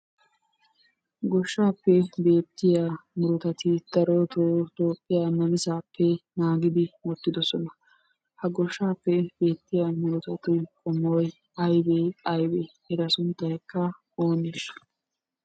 Goshshaappe beettiya meretati darotoo Toophphiyaa namisaappe naagidi wottidosona. Ha goshshaappe beettiya murutatu qommoy aybee aybe? Eta sunttaykka ooneeshsha?